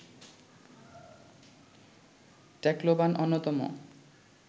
Tacloban অন্যতম